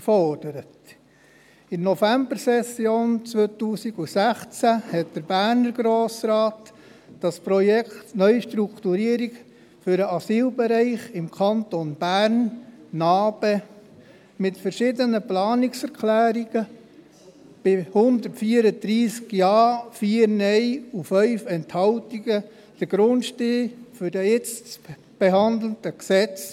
In der Novembersession 2016 legte und verabschiedete der bernische Grosse Rat mit dem Projekt Neustrukturierung des Asyl- und Flüchtlingsbereichs im Kanton Bern (NA-BE) mit verschiedenen Planungserklärungen, bei 134 Ja-, 4 Nein-Stimmen und 5 Enthaltungen, den Grundstein für das jetzt zu behandelnde Gesetz.